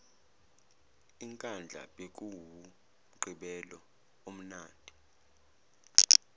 inkandla bekuwumgqibelo omnandi